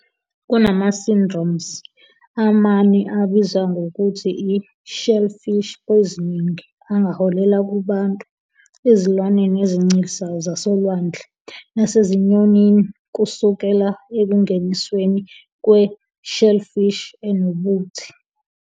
Kunama-syndromes amane abizwa ngokuthi i- shellfish poisoning angaholela kubantu, ezilwaneni ezincelisayo zasolwandle, nasezinyonini kusukela ekungenisweni kwe-shellfish enobuthi.